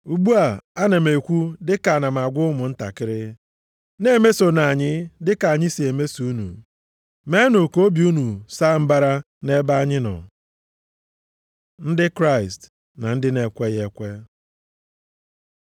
Ugbu a, ana m ekwu dịka ana m agwa ụmụntakịrị. Na-emesonu anyị dịka anyị si emeso unu, meenụ ka obi unu saa mbara nʼebe anyị nọ. Ndị Kraịst na ndị na-ekweghị ekwe